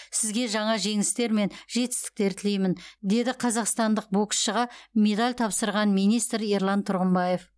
сізге жаңа жеңістер мен жетістіктер тілеймін деді қазақстандық боксшыға медаль тапсырған министр ерлан тұрғымбаев